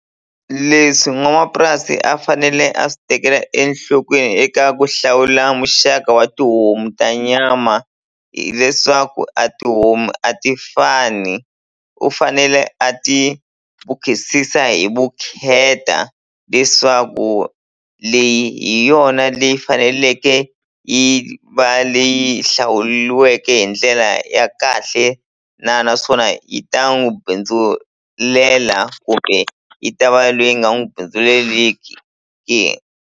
Leswi n'wamapurasi a fanele a swi tekela enhlokweni eka ku hlawula muxaka wa tihomu ta nyama hileswaku a tihomu a ti fani u fanele a ti hi vukheta leswaku leyi hi hi yona leyi faneleke yi va leyi hlawuliweke hi ndlela ya kahle na naswona yi ta n'wi bindzulela kumbe yi ta va leyi nga n'wi bindzuleleki ke.